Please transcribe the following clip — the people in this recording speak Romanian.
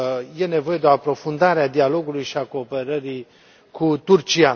e nevoie de o aprofundare a dialogului și a cooperării cu Turcia.